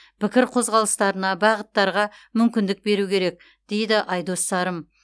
пікір қозғалыстарына бағыттарға мүмкіндік беру керек деді айдос сарым